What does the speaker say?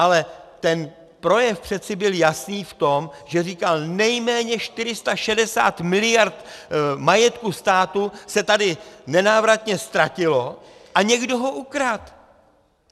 Ale ten projev přece byl jasný v tom, že říkal, nejméně 460 mld. majetku státu se tady nenávratně ztratilo a někdo ho ukradl.